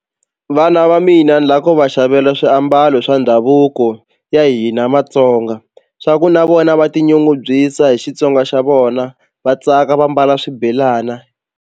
Vana va mina ni la ku va xavela swiambalo swa ndhavuko ya hina matsonga swa ku na vona va tinyungubyisa hi Xitsonga xa vona va tsaka va mbala swibelana.